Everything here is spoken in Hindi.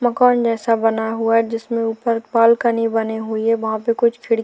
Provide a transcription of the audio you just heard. मकान जैसा बना हुआ है जिसमें ऊपर बालकनी बनी हुई है वहां पर कुछ खिड़की --